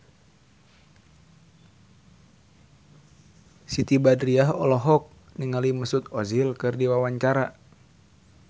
Siti Badriah olohok ningali Mesut Ozil keur diwawancara